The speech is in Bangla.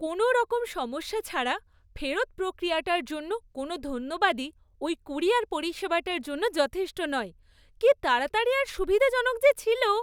কোনওরকম সমস্যা ছাড়া ফেরত প্রক্রিয়াটার জন্য কোনও ধন্যবাদই ওই ক্যুরিয়ার পরিষেবাটার জন্য যথেষ্ট নয়; কী তাড়াতাড়ি আর সুবিধাজনক যে ছিল!